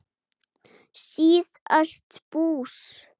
síðast bús.